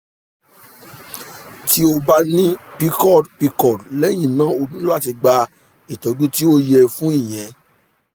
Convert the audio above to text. ti o ba ni pcod pcod lẹyin náà o nilo lati gba itọju ti o yẹ fun iyẹn